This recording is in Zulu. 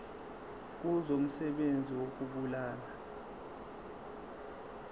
kuzo umsebenzi wokubulala